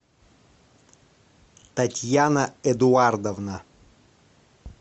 татьяна эдуардовна